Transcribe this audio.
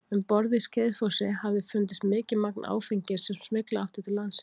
Um borð í Skeiðsfossi hafði fundist mikið magn áfengis sem smygla átti til landsins.